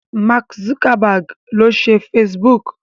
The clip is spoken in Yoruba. Mark Zuckerberg ló ṣe Facebook.